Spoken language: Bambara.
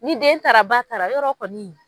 Ni den taara, ba taara yɔrɔ kɔni.